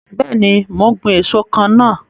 Bẹẹni, mo ń gbin èso kan náà.